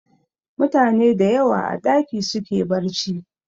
Mutane dayawa a ɗaki suke barci